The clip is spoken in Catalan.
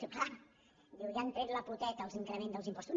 diu clar ja han tret la poteta l’increment dels impostos